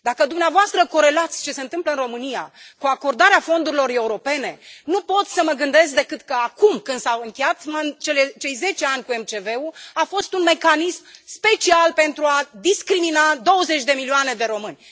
Dacă dumneavoastră corelați ce se întâmplă în România cu acordarea fondurilor europene, nu pot să mă gândesc decât că acum, când s au încheiat cei 10 ani cu MCV ul, a fost un mecanism special pentru a discrimina douăzeci de milioane de români.